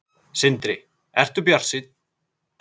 Sindri: Ertu bjartsýnn?